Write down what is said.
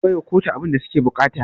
Karka baiwa kotu abunda suke buƙata